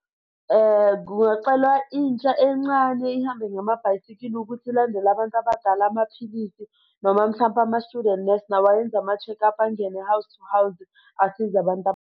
Ngingacela intsha encane ihambe ngamabhayisikili ukuthi ilandele abantu abadala amaphilisi noma mhlampe ama-student nurse nawo ayenze ama-check-up angene house to house asize abantu.